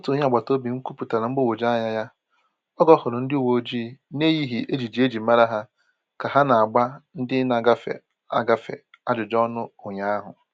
Otu onye agbata obi m kwuputara mgbagwoju anya ya oge ọ hụrụ ndi uwe ojii na-eyighị ejiji e ji mara ha ka ha na-agba ndị na-agafe, agafe ajụjụ ọnụ ụnyaahụ.